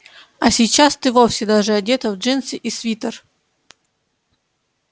а сейчас ты вовсе даже одета в джинсы и свитер